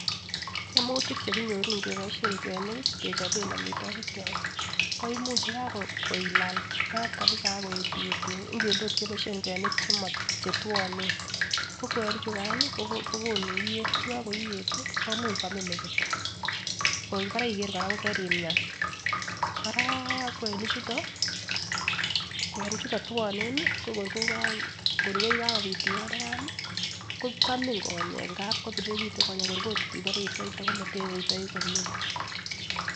Ngemutik chekonyoru ngeboishen kwenik kii kechoben omitwokik kyok ko imuch yekailal mat kabisa ak koyet iyet ingele ot keboishen kwenik chetwonen ko kwenik chukan ko kokonu iyet yekoiyet tii momuch kwamin merit koribore iger koraa ko kerimia . Koraa kwenik chito kwenik chuto twoneni ko kor koka kor kokakopit iyonikani kwamin konyek ngap kopirirekitun kor ot obore isweite komotesweitou komie.